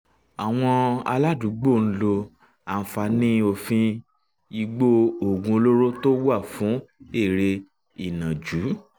àwọn aládùúgbò ń lo àǹfààní òfin ìgbọ́-oògùn olóró tó wà fún eré ìnàjú